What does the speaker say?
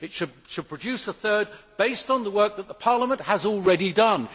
It should produce a third based on the work that Parliament has already done.